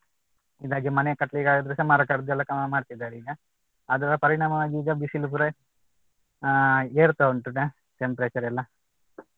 ಇದಾಗಿ ಮನೆ ಕಟ್ಟಲಿಕ್ಕೆ ಆಗದಿದ್ರೂ ಸಹ ಮರ ಕಡ್ದು ಎಲ್ಲ ಸಮ ಮಾಡ್ತಿದ್ದಾರೆ ಈಗ ಅದರ ಪರಿಣಾಮವಾಗಿ ಈಗ ಬಿಸಿಲು ಪೂರ ಅಹ್ ಏರ್ತಾ ಉಂಟು temperature ಎಲ್ಲ